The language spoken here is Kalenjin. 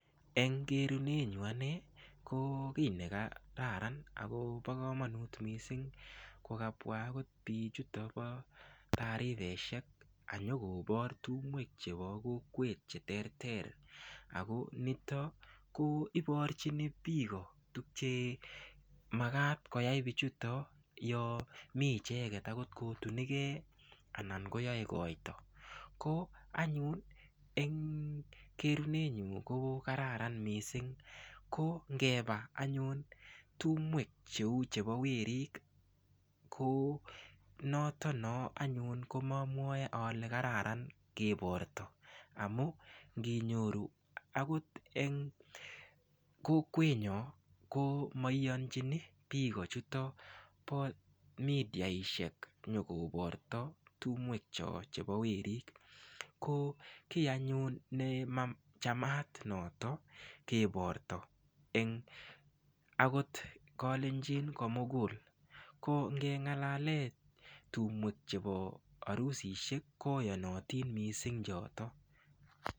Eng kerunenyu ane ko kiy ne kararan akobo komonut mising kokabwa akot biichuto bo tarifeshek anyokobor tumwek chebo kokwet che ter ter ako nito ko iborchini biiko tukche makat koyai biichuto yo mii icheket akot ko tunike anan koyoe koito ko anyun eng kerunenyu ko kararan mising ko ngeba anyun tumwek cheu chebo werik ko noto no anyun komomwoe ale kararan keborto amu nginyoru akot eng kokwenyo ko maiyonchini biko chuto bo midiaishek nyokoborto tumwek cho chebo werik ko kiy anyun ne machamat noto keborto eng akot kolenjini komugul ko ngengalale tumwek chebo arusishek koyonotin mising choto.